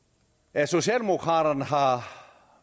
at socialdemokraterne har